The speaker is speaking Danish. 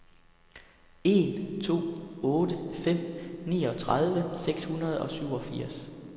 en to otte fem niogtredive seks hundrede og syvogfirs